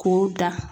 K'o da